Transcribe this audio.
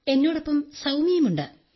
എന്നോടൊപ്പം സൌമ്യയുണ്ട്